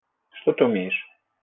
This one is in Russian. что ты умеешь